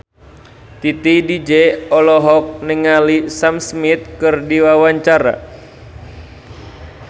Titi DJ olohok ningali Sam Smith keur diwawancara